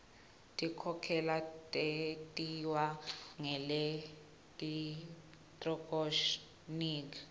tinkhokhelo tentiwa ngelekthroniki